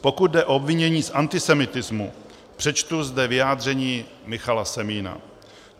Pokud jde o obvinění z antisemitismu, přečtu zde vyjádření Michala Semína: